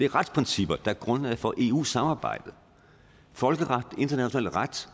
retsprincipper der er grundlaget for eu samarbejdet folkeret international ret